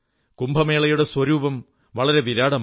കുംഭമേളയുടെ സ്വരൂപം വളരെ വിരാടമാണ്